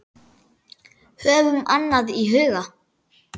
Höfum annað í huga.